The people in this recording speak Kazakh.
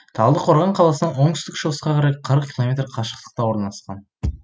талдықорған қаласынан оңтүстік шығысқа қарай қырық километр қашықтықта орналасқан